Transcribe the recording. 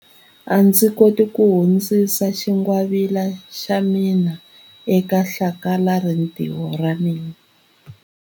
A ndzi koti ku hundzisa xingwavila xa mina eka hlakalarintiho ra mina.